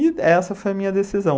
E essa foi a minha decisão.